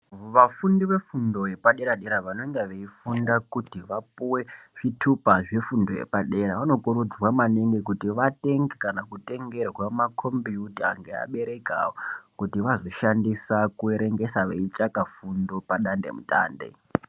Vafundi vefundo yepadera dera vanenga veifunda kuti vapuwe zvithupa zvefundo yepadera vanokurudzirwa maningi kuti vatenge kana kutengerwa makhombiyuta ngeabereki avo kuti vazoshandise kuerengesa veitsvaka fundo padatemutande.